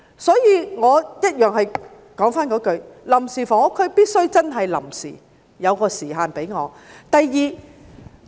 所以我重申，臨時房屋區必須真正臨時，設有時限。